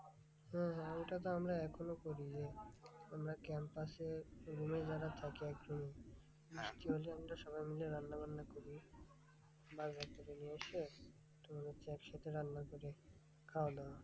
হম এটা তো আমরা এখনও করি যে আমরা campus এ ওগুলো যারা ছাত্র থাকি বৃষ্টি হলে আমরা সবাই মিলে রান্নাবান্না করি বাজার থেকে নিয়ে এসে তোমার হচ্ছে একসাথে রান্না করে খাওয়াদাওয়া।